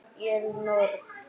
Ég er norn.